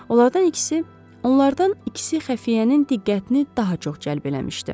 Onlardan ikisi, onlardan ikisi xəfiyyənin diqqətini daha çox cəlb eləmişdi.